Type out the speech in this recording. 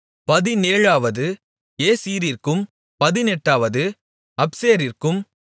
பதினேழாவது ஏசீரிற்கும் பதினெட்டாவது அப்சேசிற்கும்